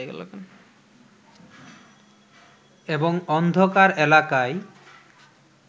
এবং অন্ধকার এলাকায়